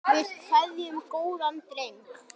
Við kveðjum góðan dreng.